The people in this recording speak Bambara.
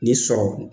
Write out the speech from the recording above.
Ni sɔrɔ